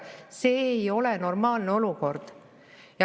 See ei ole normaalne olukord.